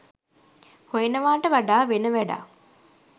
හොයනවාට වඩා වෙන වැඩක්